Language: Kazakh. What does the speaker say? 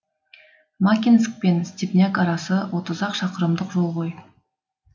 макинск пен степняк арасы отыз ақ шақырымдық жол ғой